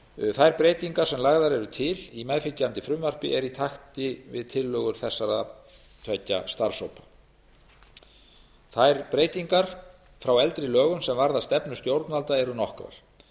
þær breytingar sem lagðar eru til í meðfylgjandi frumvarpi eru í takt við tillögur þessara tveggja starfshópa þær breytingar frá eldri lögum sem varða stefnu stjórnvalda eru nokkrar